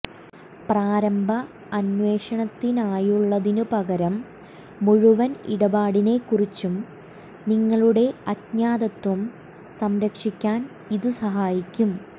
പ്രാരംഭ അന്വേഷണത്തിനായുള്ളതിനുപകരം മുഴുവൻ ഇടപാടിനെക്കുറിച്ചും നിങ്ങളുടെ അജ്ഞാതത്വം സംരക്ഷിക്കാൻ ഇത് സഹായിക്കും